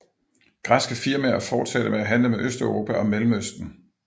Græske firmaer fortsatte med at handle med Østeuropa og Mellemøsten